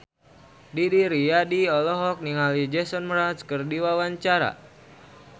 Didi Riyadi olohok ningali Jason Mraz keur diwawancara